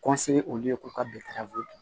olu ye ko ka dun